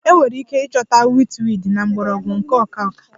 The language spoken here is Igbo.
Enwere ike ịchọta witchweed na mgbọrọgwụ nke ọka ọka